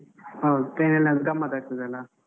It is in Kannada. ಹೌದು train ಅಲ್ಲಿ ಆದ್ರೆ ಗಮ್ಮತ್ ಆಗ್ತದಲ್ಲಾ.